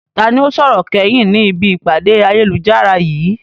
Ta ni ó sọ̀rọ̀ kẹ́yìn ni ibi ìpàdé ayélujára yìí?